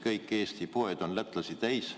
Kõik Eesti poed on lätlasi täis.